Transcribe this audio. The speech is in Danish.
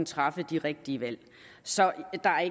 træffe de rigtige valg så